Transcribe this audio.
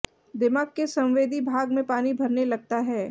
दिमाग के संवेदी भाग में पानी भरने लगता है